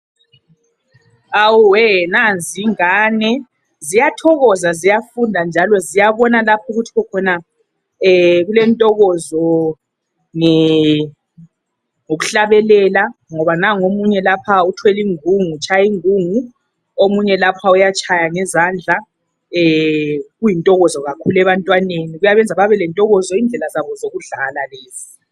Awuwe nanzi ingane ziyathokoza ziyafunda njalo ziyabona lapha ukuthi khokhona kulentokozo nge ngokuhlabelela ngoba nangu omunye lapha uthwele ingungu ,utshaya ingungu omunye lapha uyatshaya ngezandla kuyintokozo kakhulu ebantwaneni kuyabenza babelentokozo yindlela zabo zokudlala lezi.